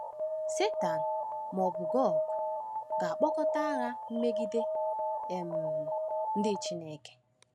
Satan, ma ọ bụ Gog, ga-akpọkọta agha megide um ndị Chineke.